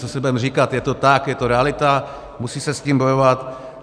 Co si budeme říkat, je to tak, je to realita, musí se s tím bojovat.